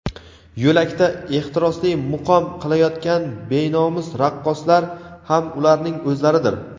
yo‘lakda ehtirosli muqom qilayotgan benomus raqqoslar ham ularning o‘zlaridir.